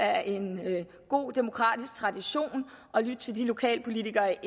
er en god demokratisk tradition at lytte til de lokalpolitikere